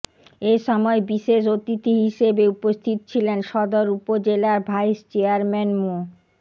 এ সময় বিশেষ অতিথি হিসেবে উপস্থিত ছিলেন সদর উপজেলার ভাইস চেয়ারম্যান মো